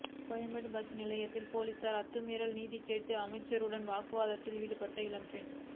Koyambedu bus நிலையத்தில் police அத்துமீறல் நீதி கேட்டு அமைச்சருடன் வாக்குவாதத்தில் ஈடுபட்ட இளம்பெண்